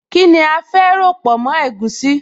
Kíni a fẹ́ ròpọ̀ mọ́ egusi?